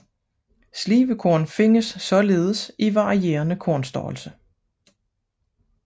Slibekorn findes således i varierende kornstørrelse